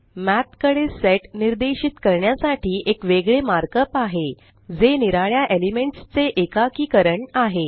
मठ कडे सेट निर्देशित करण्यासाठी एक वेगळे मार्कअप आहे जे निराळ्या एलिमेंट्स चे एकाकीकरण आहे